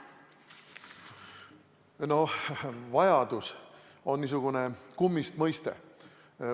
Noh, vajadus on niisugune kummist mõiste.